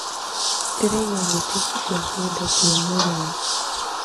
Ndĩraigua thuti cia kĩndũ kĩ mũrio